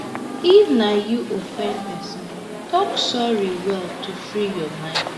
if na you offend person talk sorry well to free your mind